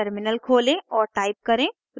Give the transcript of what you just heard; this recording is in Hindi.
टर्मिनल खोलें और टाइप करें